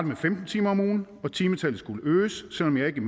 med femten timer om ugen og timetallet skulle øges selv om jeg ikke